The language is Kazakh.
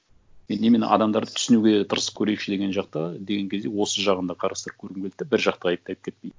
мен именно адамдарды түсінуге тырысып көрейікші деген жақта деген кезде осы жағын да қарастырып көргім келді да бір жақты айыптап кетпей